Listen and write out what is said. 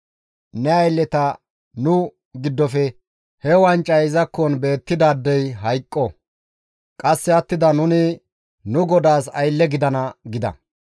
Ne aylleta nu giddofe he wancay izakkon beettidaadey hayqqo; qasse attida nuni nu godaas aylle gidana» gida.